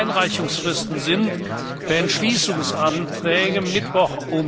Die Einreichungsfristen sind für Entschließungsanträge Mittwoch,